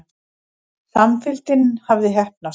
Samfylgdin hafði heppnast.